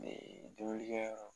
Ne denkundikɛyɔrɔ